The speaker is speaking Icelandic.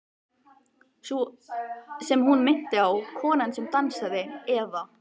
Sú sem hún minnti á, konan sem dansaði, eða.